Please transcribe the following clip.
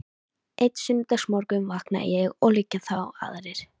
Einn sunnudagsmorgun vakna ég og liggja þá aðrir